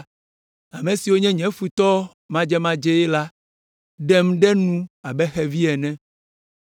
Ame siwo nye nye futɔwo madzemadzee la ɖem ɖe nu abe xevi ene.